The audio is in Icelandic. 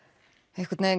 einhvern vegin